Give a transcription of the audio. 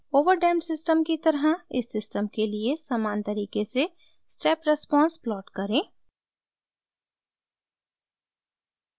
over damped system की तरह इस सिस्टम के लिए समान तरीके से स्टेप रेस्पॉन्स प्लॉट करें